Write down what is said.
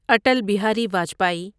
Atal Bihari Vajpayee